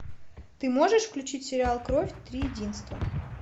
ты можешь включить сериал кровь три единства